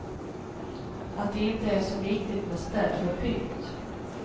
Att det inte är så viktigt med städ och pynt.